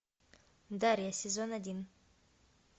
дарья сезон один